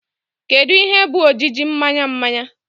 Kedu ihe bụ ojiji mmanya mmanya?